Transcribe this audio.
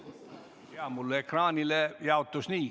Minu ekraanile ilmusid need nii.